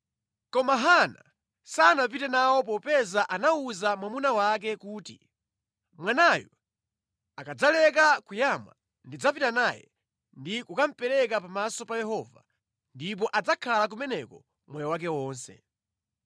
Koma Hana sanapite nawo popeza anawuza mwamuna wake kuti, “Mwanayu akadzaleka kuyamwa, ndidzapita naye ndi kukamupereka pamaso pa Yehova ndipo adzakhala kumeneko moyo wake wonse.”